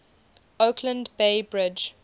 oakland bay bridge